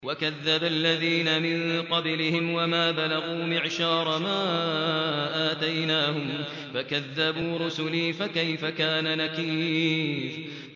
وَكَذَّبَ الَّذِينَ مِن قَبْلِهِمْ وَمَا بَلَغُوا مِعْشَارَ مَا آتَيْنَاهُمْ فَكَذَّبُوا رُسُلِي ۖ فَكَيْفَ كَانَ نَكِيرِ